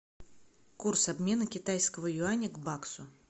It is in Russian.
курс обмена китайского юаня к баксу